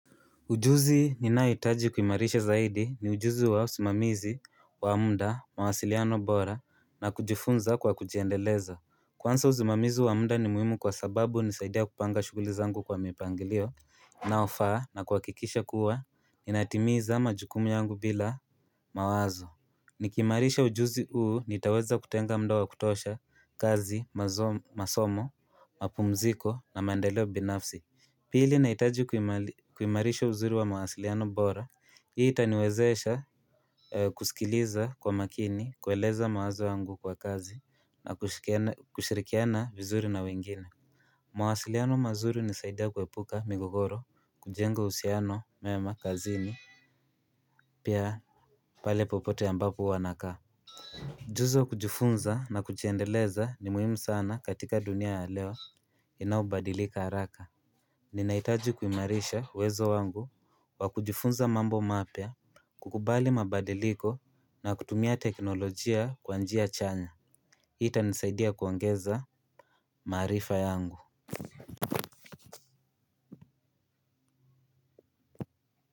Ujuzi ninayohitaji kuimarisha zaidi ni ujuzi wa usimamizi, wa muda, mawasiliano bora na kujifunza kwa kujiendeleza. Kwanza usimamizi wa muda ni muhimu kwa sababu hunisaidia kupanga shughuli zangu kwa mipangilio unaofaa na kuhakikisha kuwa, ininatimiza majukumu yangu bila mawazo Nikiimarisha ujuzi huu nitaweza kutenga muda wa kutosha, kazi, masomo, mapumziko na mandeleo binafsi Pili nahitaji kuimarisha uzuri wa mawasiliano bora. Hii itaniwezesha kusikiliza kwa makini, kueleza mawazo yangu kwa kazi na kushirikiana vizuri na wengine Mwasiliano mazuri hunisaidia kuepuka migogoro, kujengo uhusiano mema kazini pia pale popote ambapo huwa nakaa. Ujuzi wa kujifunza na kujiendeleza ni muhimu sana katika dunia ya leo inayobadilika haraka. Ninahitaji kuimarisha uwezo wangu wa kujifunza mambo mapya, kukubali mabadiliko na kutumia teknolojia kwa njia chanya. Hii itanisaidia kuongeza maarifa yangu.